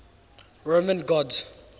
roman gods